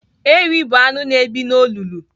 Ewi bụ anụ na-ebi n'olulu.